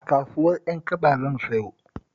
A kasuwar Ƴankaba zan sayo